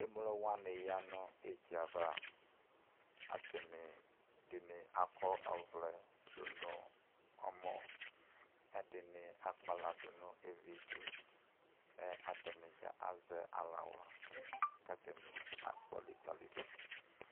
Emlo wani yanʋ edzavaAtani , ɛdini akɔ ɔvlɛ dunʋ ɔmɔ Kʋ ɛdini akpala dunʋ evituMɛ atani dza azɛ alawla , katani akɔ likalidu